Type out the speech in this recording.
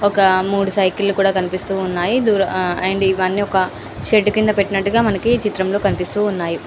ఒక మూడు సైకిల్లు కూడా కనిపిస్తూ ఉన్నాయి దుర్అండ్ ఇవన్నీ ఒక షెడ్ కింద పెట్టినట్టుగా మనకి చిత్రంలో కనిపిస్తూ ఉన్నాయి.